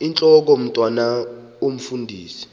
intlok omntwan omfundisi